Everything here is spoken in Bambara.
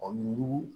A yugu